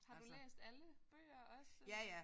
Har du læst alle bøger også?